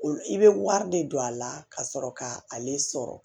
I bɛ wari de don a la ka sɔrɔ ka ale sɔrɔ